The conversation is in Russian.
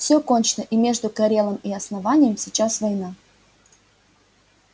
все кончено и между корелом и основанием сейчас война